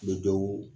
Bɛ dɔw